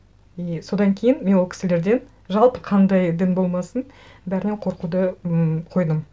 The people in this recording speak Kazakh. и содан кейін мен ол кісілерден жалпы қандай дін болмасын бәрінен қорқуды м қойдым